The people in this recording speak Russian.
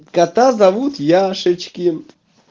кота зовут яшечкин